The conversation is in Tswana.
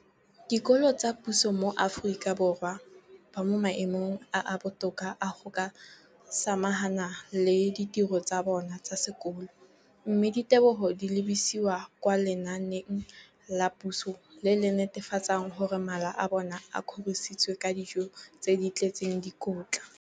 dikolo tsa puso mo Aforika Borwa ba mo maemong a a botoka a go ka samagana le ditiro tsa bona tsa sekolo, mme ditebogo di lebisiwa kwa lenaaneng la puso le le netefatsang gore mala a bona a kgorisitswe ka dijo tse di tletseng dikotla.